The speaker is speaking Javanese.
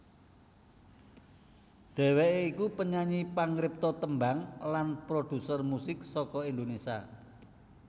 Dhèwèké iku penyanyi pangripta tembang lan prodhuser musik saka Indonésia